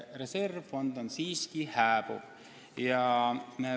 Reservfond on siiski hääbuv.